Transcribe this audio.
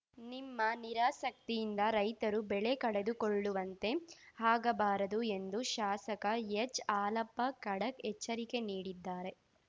ನಿಮ್ಮ ನಿರಾಸಕ್ತಿಯಿಂದ ರೈತರು ಬೆಳೆ ಕಳೆದುಕೊಳ್ಳುವಂತೆ ಆಗಬಾರದು ಎಂದು ಶಾಸಕ ಎಚ್‌ಹಾಲಪ್ಪ ಖಡಕ್‌ ಎಚ್ಚರಿಕೆ ನೀಡಿದ್ದಾರೆ